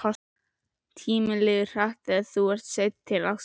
Tíminn líður hratt og þú ert sein til ásta.